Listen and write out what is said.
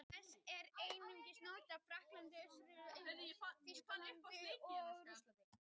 Þessi titill var einnig notaður í Frakklandi, Austurríki, Þýskalandi og Rússlandi.